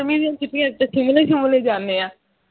ਗਰਮੀ ਦੀ ਛੁਟੀਈਆਂ ਦੇ ਵਿਚ ਅਸੀਂ shimla shumla ਜਾਂਦੇ ਹਾਂ